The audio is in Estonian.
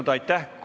Kohtumiseni homme!